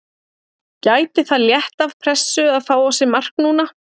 Gæti það létt af pressu að fá á sig mark núna?